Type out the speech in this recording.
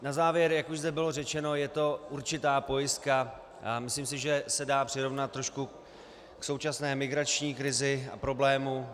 Na závěr, jak už zde bylo řečeno, je to určitá pojistka a myslím si, že se dá přirovnat trošku k současné migrační krizi a problému.